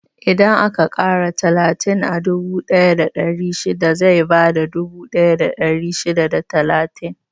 Idan aka ƙara talatin a dubu ɗaya da ɗari shida, zai bada dubu ɗaya da ɗari shida da talatin.